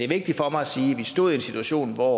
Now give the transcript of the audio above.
vigtigt for mig at sige at vi stod i en situation hvor